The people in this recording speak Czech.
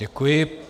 Děkuji.